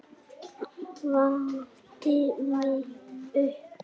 Vakti mig upp.